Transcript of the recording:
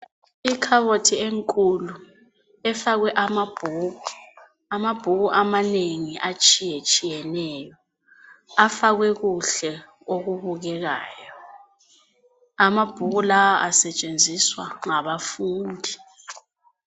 Ikhabothi enkulu efakwe amabhuku, amabhuku amanengi atshiye tshiyeneyo. Afakwe kuhle okubukekayo. Amabhuku lawa asetshenziswa ngabafundi.